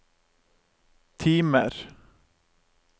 timer